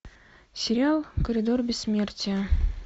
сериал коридор бессмертия